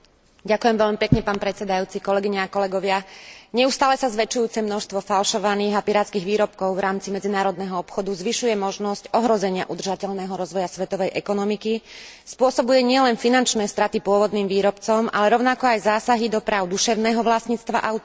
Neustále sa zväčšujúce množstvo falšovaných a pirátskych výrobkov v rámci medzinárodného obchodu zvyšuje možnosť ohrozenia udržateľného rozvoja svetovej ekonomiky, spôsobuje nielen finančné straty pôvodným výrobcom, ale rovnako aj zásahy do práv duševného vlastníctva autorov a subjektov podieľajúcich sa na výrobe a produkcii,